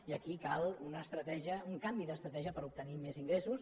i aquí cal una estratègia un canvi d’estratègia per obtenir més ingressos